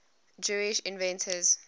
jewish inventors